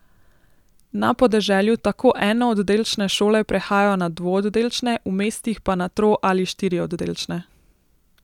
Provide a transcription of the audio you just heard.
Na podeželju tako enooddelčne šole prehajajo na dvooddelčne, v mestih pa na tro ali štiri oddelčne.